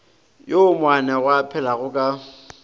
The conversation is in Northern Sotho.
woo moanegwa a phelago ka